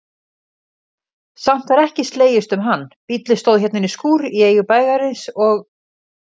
Samt var ekki slegist um hann, bíllinn stóð inní skúr í eigu bæjarins og